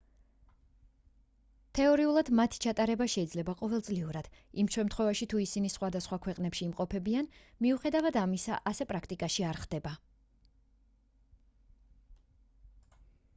თეორიულად მათ ჩატარება შეიძლება ყოველწლიურად იმ შემთხვევაში თუ ისინი სხვადასხვა ქვეყნებში იმყოფებიან მიუხედავად ამისა ასე პრაქტიკაში არ ხდება